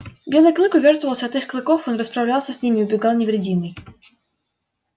белый клык увёртывался от их клыков он расправлялся с ними и убегал невредимый